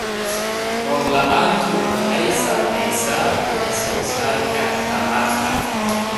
Roob la'aantu waxay saamaysaa wax soo saarka tamarta.